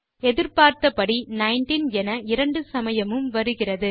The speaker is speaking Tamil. எதிர்பார்த்தபடி 19 என இரண்டு சமயமும் வருகிறது